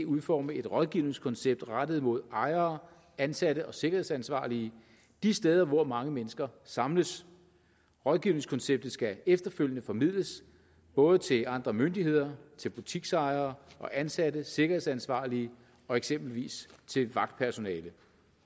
udforme et rådgivningskoncept rettet mod ejere ansatte og sikkerhedsansvarlige de steder hvor mange mennesker samles rådgivningskonceptet skal efterfølgende formidles både til andre myndigheder til butiksejere og ansatte sikkerhedsansvarlige og eksempelvis til vagtpersonale